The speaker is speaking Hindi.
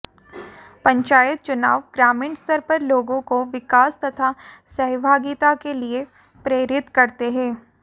पंचायत चुनाव ग्रामीण स्तर पर लोगों को विकास तथा सहभागिता के लिए प्रेरित करते हैं